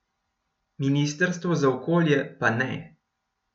Ministrstvo za okolje pa ne.